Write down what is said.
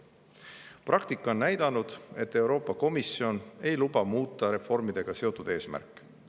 Praktika on näidanud, et Euroopa Komisjon ei luba muuta reformidega seotud eesmärke.